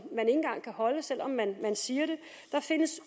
engang kan holde selv om man siger det der findes